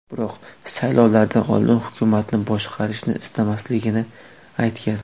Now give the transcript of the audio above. Biroq saylovlardan oldin hukumatni boshqarishni istamasligini aytgan.